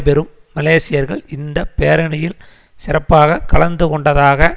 பெறும் மலேசியர்கள் இந்த பேரணியில் சிறப்பாக கலந்து கொண்டதாக